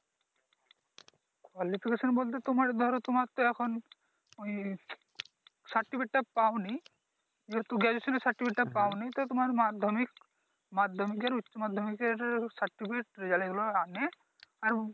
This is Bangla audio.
বলতে তোমার ধরো তোমার তো এখন ওই সার্টিফিকেট টা পাওনি যেহেতু Graduation এর সার্টিফিকেট টা পাওনি তো তোমার মাধ্যমিক মাধ্যমিকের উচ্চমাধ্যমিকের সার্টিফিকেট রেজাল্ট এগুলো আনে